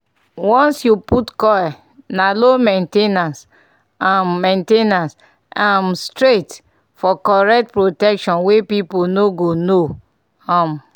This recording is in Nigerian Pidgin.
once you put coil na low main ten ance um main ten ance um straight --for correct protection wey people no go know. um